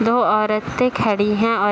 दो औरतें खड़ी हैं और --